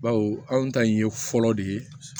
Bawo anw ta in ye fɔlɔ de ye